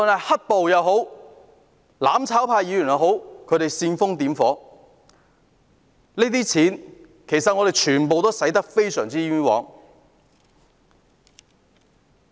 "黑暴"或"攬炒派"議員煽風點火，這些錢全部都花得非常冤枉。